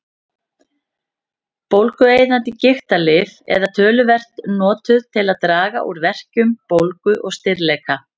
Bólgueyðandi gigtarlyf eru töluvert notuð til að draga úr verkjum, bólgu og stirðleika.